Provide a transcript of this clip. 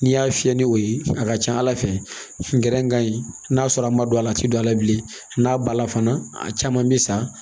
N'i y'a fiyɛ ni o ye a ka ca ala fɛ ntɛnɛn ka ɲi n'a sɔrɔ a ma don a la a tɛ don a la bilen n'a ba la fana a caman bɛ sa